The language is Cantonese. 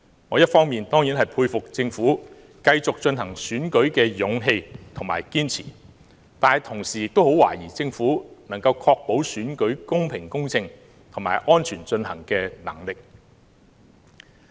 我一方面當然佩服政府繼續進行選舉的勇氣和堅持，但同時亦很懷疑政府能夠確保選舉公平公正和安全進行的能力。